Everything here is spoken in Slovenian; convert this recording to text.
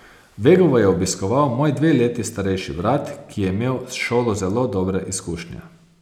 Vegovo je obiskoval moj dve leti starejši brat, ki je imel s šolo zelo dobre izkušnje.